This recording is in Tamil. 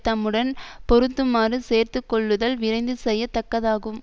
தம்முடன் பொருந்துமாறு சேர்த்து கொள்ளுதல் விரைந்து செய்ய தக்கதாகும்